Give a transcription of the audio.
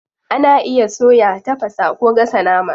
Ana iya soya, tafasa, ko gasa nama.